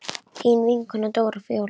Þín vinkona Dóra Fjóla.